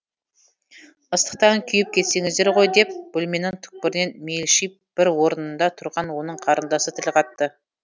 ыстықтан күйіп кетесіңдер ғой деп бөлменің түкпірінен мелшиіп бір орнында тұрған оның қарындасы тіл қатты